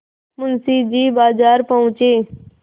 मुंशी जी बाजार पहुँचे